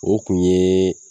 O kun yee